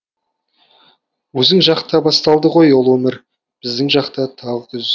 өзің жақта басталды ғой ұлы өмір біздің жақта тағы күз